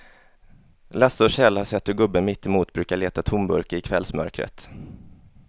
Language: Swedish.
Lasse och Kjell har sett hur gubben mittemot brukar leta tomburkar i kvällsmörkret.